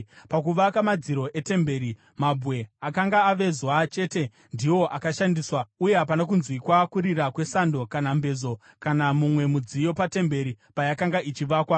Pakuvaka madziro etemberi mabwe akanga avezwa chete ndiwo akashandiswa, uye hapana kunzwikwa kurira kwesando kana mbezo kana mumwe mudziyo patemberi payakanga ichivakwa.